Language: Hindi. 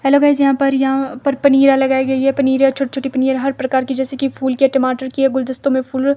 हेलो गाइस यहां पर यहां पर पनिरियाँ लगाई गई है पनिरियाँ छोटी-छोटी पनिरियाँ हर प्रकार की जैसे की फुल के टमाटर की है गुलदस्ता में फूल --